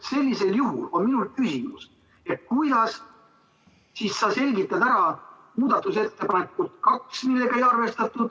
Sellisel juhul on minul küsimus: kuidas sa selgitad muudatusettepaneku nr 2 arvestamata jätmist?